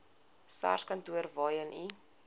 sarskantoor waarheen u